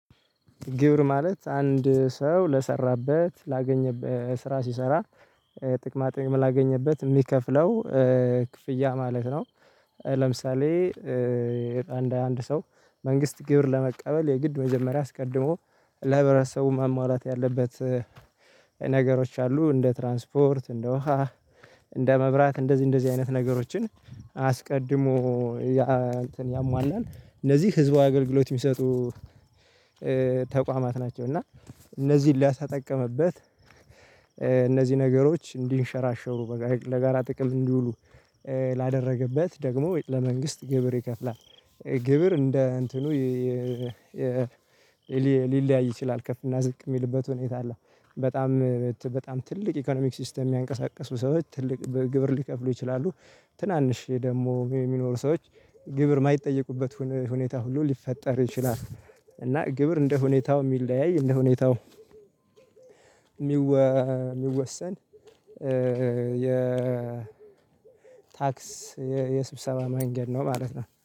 ግብር ማለት አንድ ሰው ለሰራበት ላገኘበት ስራ ሲሰራ ጥቅማ ጥቅም ላገኘበት የሚከፍለው ክፍያ ማለት ነው። ለምሳሌ። አንድ ሰው መንግስት ግብር ለመቀበል የግድ መጀመሪያ አስቀድሞ ለህብረተሰቡ ማሟላት ያለበት። ነገሮች አሉ እንደ ትራንስፖርት እንደ ውሃ እንደ መብራት እንደዚህ እንደዚህ አይነት ነገሮችን። አስቀድሞ ያ እንትን ያሟላል እነዚህ ህዝባዊ አገልግሎት የሚሰጡ ተቋማት ናቸው። እና እነዚህን ለተጠቀምበት እነዚህ ነገሮች እንዲንሸራሸሩ ለጋራ ጥቅም እንዲውሉ ላደረገበት ደግሞ ወይስ ለመንግስት ግብር ይከፍላል። ግብር እንደ እንትኑ ሊለያይ ይችላል ከፍ እና ዝቅ የሚልበት ሁኔታ አለው። በጣም በጣም ትልቅ ኢኮኖሚክ ሲስተም የሚያንቀሳቅሱ ሰዎች ትልቅ ግብር ሊከፍሉ ይችላሉ። ትናንሽ ደግሞ የሚኖሩ ሰዎች ግብር የማይጠየቁበት ሁኔታ ሁሉ ሊፈጠር ይችላል። እና ግብር እንደ ሁኔታው የሚለያይ እንደ ሁኔታው የሚወሰን የ ታክስ የስብሰባ መንገድ ነው ማለት ነው